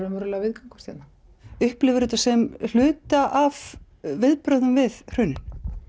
viðgangast hérna upplifir þú þetta sem hluta af viðbrögðum við hruninu